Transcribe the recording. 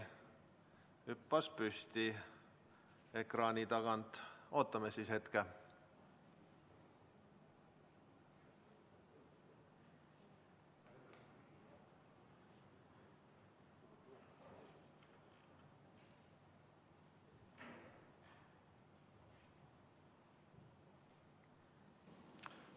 Hüppas püsti ekraani tagant, ootame hetke.